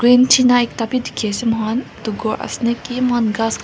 green tina ekta bhi dekhi ase moi khan etu gour ase niki moi khan gasss --